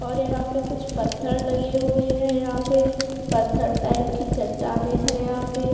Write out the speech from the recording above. और यहाँ पे कुछ पत्थर लगे हुए हैं यहाँ पे पत्थर टाइप की चट्टाने हैं यहाँ पे --